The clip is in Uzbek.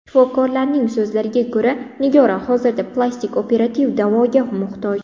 Shifokorlarning so‘zlariga ko‘ra, Nigora hozirda plastik operativ davoga muhtoj.